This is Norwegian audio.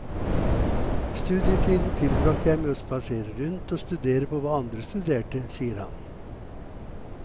Studietiden tilbragte jeg med å spasere rundt og studere på hva andre studerte, sier han.